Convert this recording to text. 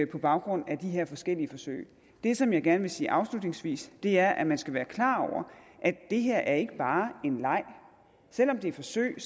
på baggrund af de her forskellige forsøg det som jeg gerne vil sige afslutningsvis er at man skal være klar over at det her ikke bare er en leg selv om det er forsøg